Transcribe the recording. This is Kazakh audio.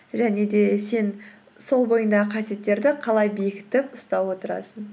және де сен сол бойыңдағы қасиеттерді қалай бекітіп ұстап отырасың